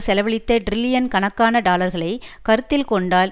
செலவழித்த டிரில்லியன் கணக்கான டாலர்களை கருத்தில் கொண்டால்